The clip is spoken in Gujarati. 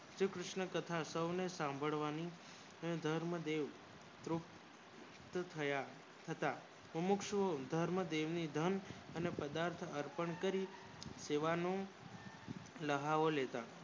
શ્રી કૃષ્ન ની કથા સોને સાંભળવાની ને ધર્મ દેવ પૃષ્ટ થયા થયા હતા પ્રમુખ દેવી ઘર ના અને પ્રદાર્થ અર્પણ કરિયુંલહાવો લેતા